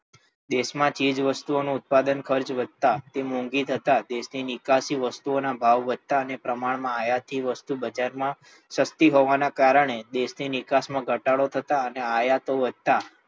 દેશમાં ચીજવસ્તુઓનું ઉત્પાદન ખર્ચ વધતાં તે મોંઘી થતાં દેશની નિકાસી વસ્તુઓના ભાવ વધતાં અને પ્રમાણમાં આયાતી વસ્તુ બજારમાં સસ્તી હોવાના કારણે દેશની નિકાસમાં ઘટાડો થતાં અને આયતો વધતાં